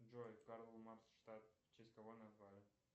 джой карл маркс штат в честь кого назвали